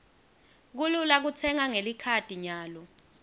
kulula kutsenga ngelikhadi nyalo